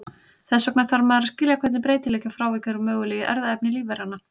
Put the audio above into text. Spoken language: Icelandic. Þess vegna þarf maður að skilja hvernig breytileiki og frávik eru möguleg í erfðaefni lífveranna.